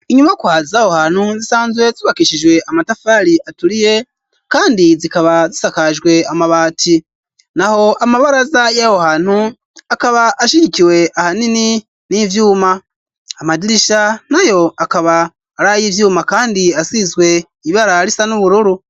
Inyubakwa zah hantu zisanzwe zubakishijwe amatafari aturiye kandi zikaba zisakajwe amabati. Naho amabaraza y'aho hantu akaba ashigikiwe ahanini n'ivyuma, amadirisha nayo akaba ari ay' ivyuma kandi asizwe ibara risa n'ubururu.